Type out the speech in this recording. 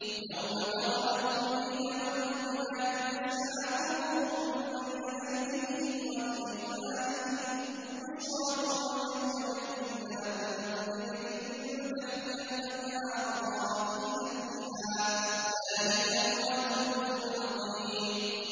يَوْمَ تَرَى الْمُؤْمِنِينَ وَالْمُؤْمِنَاتِ يَسْعَىٰ نُورُهُم بَيْنَ أَيْدِيهِمْ وَبِأَيْمَانِهِم بُشْرَاكُمُ الْيَوْمَ جَنَّاتٌ تَجْرِي مِن تَحْتِهَا الْأَنْهَارُ خَالِدِينَ فِيهَا ۚ ذَٰلِكَ هُوَ الْفَوْزُ الْعَظِيمُ